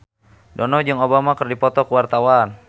Dono jeung Obama keur dipoto ku wartawan